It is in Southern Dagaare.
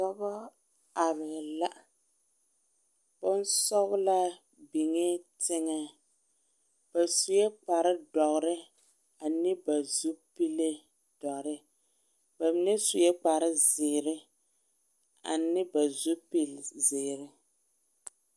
Dɔba are la bonsɔglaa biŋɛ teŋɛ, ba sue kpare doɔre ane ba zupile doɔre ba mine sue kpare zeɛre ane ba zupile zeɛre